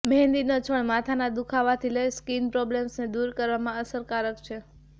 મહેંદીનો છોડ માથાના દુઃખાવાથી લઈ સ્કીન પ્રોબલેમ્સને દૂર કરવામાં અસરકારક છે